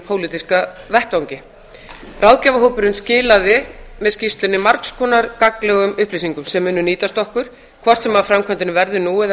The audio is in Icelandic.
pólitíska vettvangi ráðgjafarhópurinn skilaði með skýrslunni margs konar gagnlegum upplýsingum sem munu nýtast okkur hvort sem af framkvæmdinni verður nú eða